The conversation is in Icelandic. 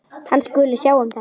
Hann skuli sjá um þetta.